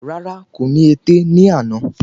Rárá, kò ní ẹ̀tẹ̀ ní àná